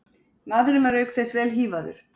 Maðurinn var auk þess vel hífaður